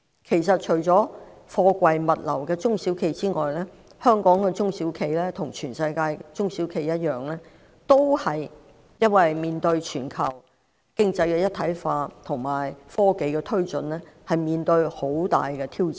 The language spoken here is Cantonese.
事實上，除了從事貨櫃物流的中小企之外，香港其他中小企亦與全世界的中小企一樣，由於全球經濟一體化及科技發展而面對極大挑戰。